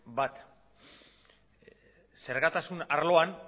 bat zergatasun arloan